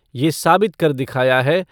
ये साबित कर दिखया है।